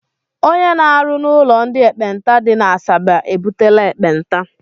Ónyé na-arụ n' ụlọ ndị ekpenta dị n'Asaba ebutela ekpenta.